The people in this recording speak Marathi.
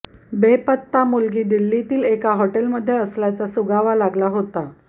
बेपत्ता मुलगी दिल्लीतील एका हॉटेलमध्ये असल्याचा सुगावा लागला होता